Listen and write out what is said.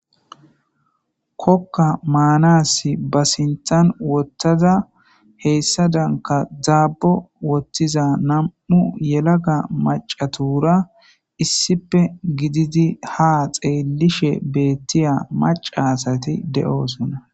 kokka maanasi ba sinthan wottaza heyssa danka dzaabo wottiza nam7u yelaga macatura issipe gididi ha xeelishe beettiya macasati de7oosonna